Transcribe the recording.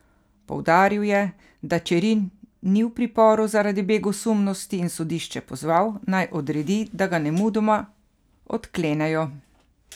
Poudaril je, da Čerin ni v priporu zaradi begosumnosti, in sodišče pozval, naj odredi, da ga nemudoma odklenejo.